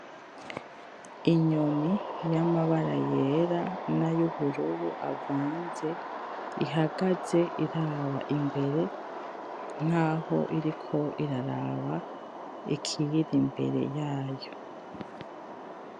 Inyoni yamabara yera nayubururu avanze ihagaze iraba imbere nkaho iriko iraraba ikiyiri imbere yayo.